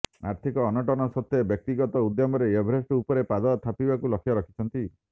ଆର୍ଥିକ ଅନଟନ ସତ୍ତ୍ୱେ ବ୍ୟକ୍ତିଗତ ଉଦ୍ୟମରେ ଏଭରେଷ୍ଟ ଉପରେ ପାଦ ଥାପିବାକୁ ଲକ୍ଷ୍ୟ ରଖିଛନ୍ତି